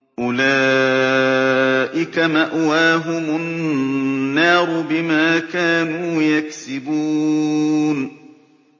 أُولَٰئِكَ مَأْوَاهُمُ النَّارُ بِمَا كَانُوا يَكْسِبُونَ